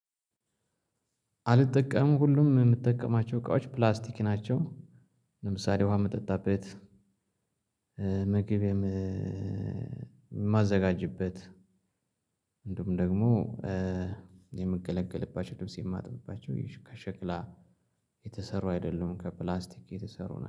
አልጠቀምም። ሁሉም የምጠቀማቸው እቃዎች ፕላስቲክ ናቸው። ለምሳሌ ውሃ መጠጣበት ምግብ የማዘጋጅበት። እንዲሁም ደግሞ የምገለገልባቸው ልብስ የማጥብባቸው ከሸክላ የተሰሩ አይደሉም ከፕላስቲክ የተሰሩ ነው።